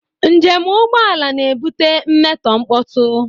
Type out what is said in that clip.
Njem ụgbọ ala na-ebute mmetọ mkpọtụ